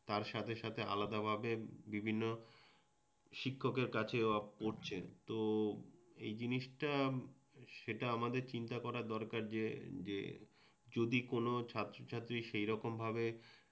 তার সাথে সাথে আলাদা ভাবে বিভিন্ন শিক্ষকের কাছেও পড়ছে তো এই জিনিসটা সেটা আমাদের চিন্তা করা দরকার যে যে যদি কোনও ছাত্রছাত্রী সেইরকমভাবে